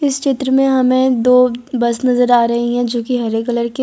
इस चित्र में हमें दो बस नजर आ रही है जोकि हरे कलर की --